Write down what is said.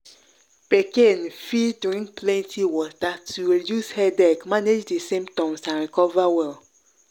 pikin fit drink plenty water to reduce headache manage di symptoms and recover well.